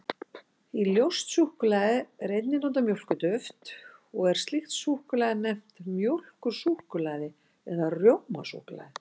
Í ljóst súkkulaði er einnig notað mjólkurduft, og er slíkt súkkulaði nefnt mjólkursúkkulaði eða rjómasúkkulaði.